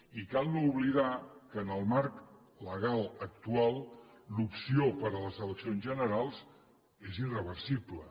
i cal no oblidar que en el marc legal actual l’opció per a les eleccions generals és irreversible